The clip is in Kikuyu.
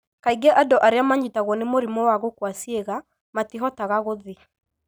Kaingĩ andũ arĩa manyitagwo nĩ mũrimũ wa gũkua ciĩga matihotaga gũthiĩ.